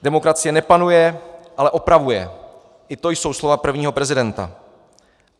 Demokracie nepanuje, ale opravuje, i to jsou slova prvního prezidenta.